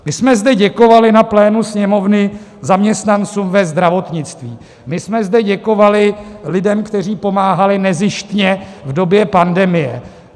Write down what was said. My jsme zde děkovali na plénu Sněmovny zaměstnancům ve zdravotnictví, my jsme zde děkovali lidem, kteří pomáhali nezištně v době pandemie.